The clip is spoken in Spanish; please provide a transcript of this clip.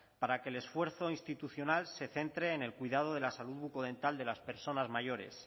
para que el esfuerzo institucional se centre en el cuidado de la salud bucodental de las personas mayores